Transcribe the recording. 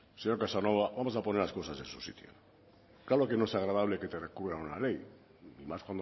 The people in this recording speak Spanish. señor casanova vamos a poner las cosas en su sitio claro que no es agradable que te recurran una ley y más